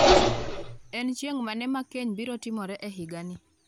En chieng’ mane ma keny biro timore e higa ni?